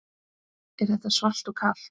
Er þetta svalt og kalt?